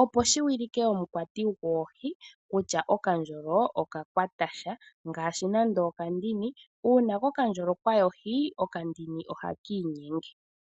Opo shiwilike omukwati goohi kutya okandjolo oka kwata sha, ngashi nando okandini uuna kokandjolo kwayi ohi okandini ohakii nyenge.